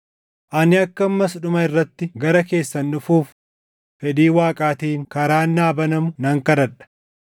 ani akka ammas dhuma irratti gara keessan dhufuuf fedhii Waaqaatiin karaan naa banamu nan kadhadha.